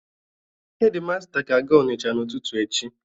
Hedi masta ga-aga Ọnịcha n'ụtụtụ echi.